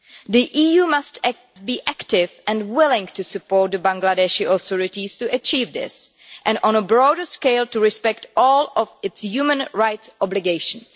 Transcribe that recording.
The EU must be active and willing to support the Bangladeshi authorities to achieve this and, on a broader scale, to respect all of its human rights obligations.